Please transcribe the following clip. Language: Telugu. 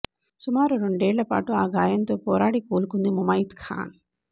సుమారు రెండేళ్లు పాటు ఆ గాయంతో పోరాడి కోలుకుంది ముమైత్ ఖాన్